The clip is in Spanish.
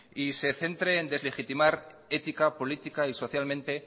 y se centre en deslegitimizar ética política y socialmente